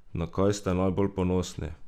Na kaj ste najbolj ponosni?